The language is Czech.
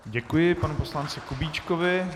Děkuji panu poslanci Kubíčkovi.